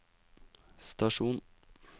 stasjon